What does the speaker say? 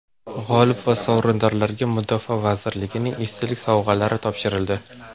G‘olib va sovrindorlarga Mudofaa vazirligining esdalik sovg‘alari topshirildi.